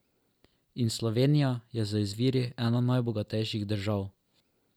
In Slovenija je z izviri ena najbogatejših držav.